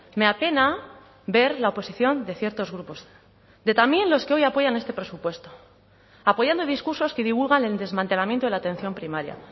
me apena ver la oposición de ciertos grupos de también los que hoy apoyan este presupuesto apoyando discursos que divulgan el desmantelamiento de la atención primaria